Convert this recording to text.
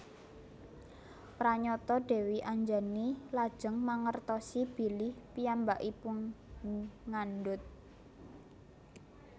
Pranyata Dèwi Anjani lajeng mangertosi bilih piyambakipun ngandhut